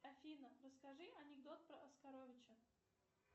афина расскажи анекдот про оскаровича